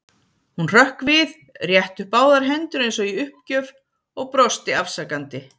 Hún hrökk við, rétti upp báðar hendur eins og í uppgjöf og brosti afsakandi.